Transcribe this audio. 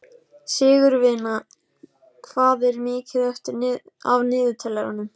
Sigurvina, hvað er mikið eftir af niðurteljaranum?